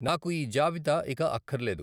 నాకు ఈ జాబితా ఇక అక్కర్లేదు.